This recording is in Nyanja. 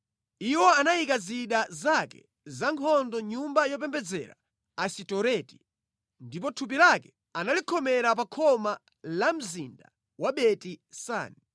Iwo anayika zida zake zankhondo mʼnyumba yopembedzera Asitoreti, ndipo thupi lake analikhomera pa khoma la mzinda wa Beti-Sani.